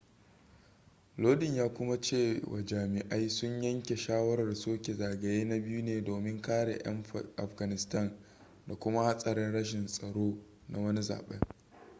lodin ya kuma cewa jami'ai sun yanke shawarar soke zagaye na biyu ne domin kare 'yan afghanistan da kuma hatsarin rashin tsaro na wani zaben